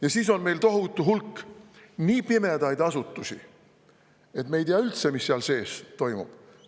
Ja siis on meil tohutu hulk nii pimedaid asutusi, et me üldse ei tea, mis seal sees toimub.